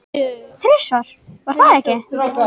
Þrisvar, var það ekki?